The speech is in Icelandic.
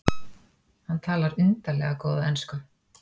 Hann talar undarlega góða ensku.